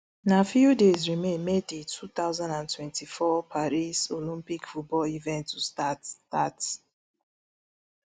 na few days remain for di two thousand and twenty-four paris olympic football event to start start